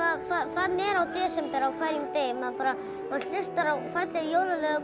þannig er í desember á hverjum degi maður hlustar á falleg jólalög